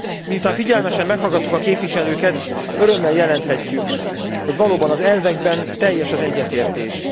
Miután figyelmesen meghallgattuk a képviselőket, örömmel jelenthetjük, hogy valóban az elvekben teljes az egyetértés.